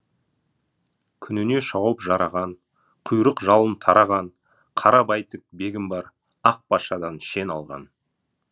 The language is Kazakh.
күніне шауып жараған құйрық жалын тараған қара бәйтік бегім бар ақ патшадан шен алған